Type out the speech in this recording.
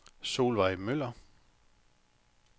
Solveig Møller